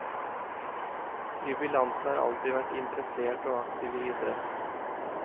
Jubilanten har alltid vært interessert og aktiv i idrett.